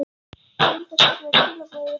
Ég reyndi að senda þér skilaboð yfir hafið.